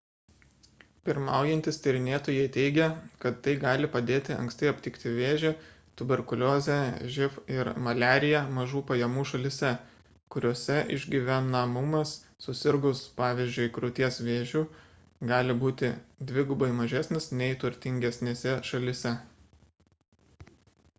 pirmaujantys tyrinėtojai teigia kad tai gali padėti anksti aptikti vėžį tuberkuliozę živ ir maliariją mažų pajamų šalyse kuriose išgyvenamumas susirgus pvz. krūties vėžiu gali būti dvigubai mažesnis nei turtingesnėse šalyse